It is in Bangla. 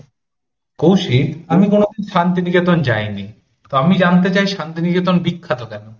কৌশিক আমি কোনদিন শান্তিনিকেতন যাইনি, তা আমি জানতে চাই শান্তিনিকেতন বিখ্যাত কেন?